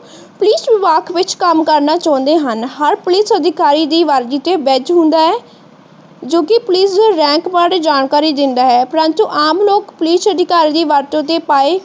Police ਵਿਭਾਗ ਕੰਮ ਕਰਨਾ ਚਾਉਂਦੇ ਹਨ। ਹਰ ਪੁਲਿਸ ਅਧਿਕਾਰੀ ਦੀ ਵਰਦੀ ਤੇ ਬੈਚ ਹੁੰਦਾ ਹੈ ਜੋ ਕਿ ਪੁਲਿਸ ਦੇ ਬਾਰੇ ਜਾਣਕਾਰੀ ਦੇਂਦਾ ਹੈ। ਪਰੰਤੂ ਆਮ ਲੋਕ ਪੁਲਿਸ ਅਧਿਕਾਰੀ ਦੀ ਵਰਤੋਂ ਤੇ ਪਾਏ,